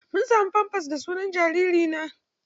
Mun samu famfas da sunan jariri na.